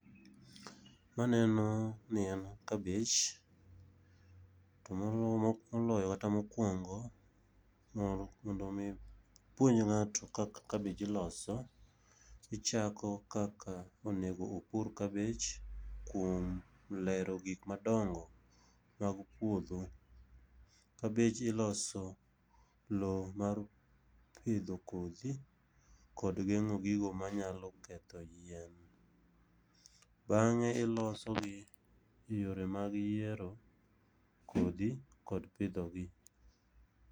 Maneno ni en kabich, to moloyo kata mokwongo, mondo omi ipuonj ng'ato kaka kabich iloso, ichako kaka onego opur kabej kuom lero gik madongo mag puodho. Kabej iloso lowo mar pidho kodhi kod geng'o gigo manyalo ketho yien. Bang'e ilosogie yore mag yiero kodhi kod pidhogi.